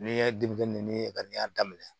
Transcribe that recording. Ni ye denmisɛnnin ninnu ye ka n'i y'a daminɛ